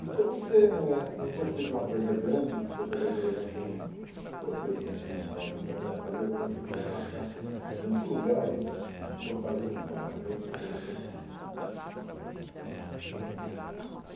Então, você, não vou te pedir uma coisa grande de você fazer, por exemplo, um roteiro sentimental da cidade de Fortaleza, mas você podia marcar cinco lugares de Fortaleza que são marcantes para você?